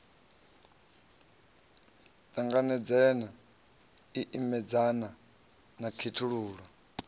ṱanganedzana i imedzana na khethululo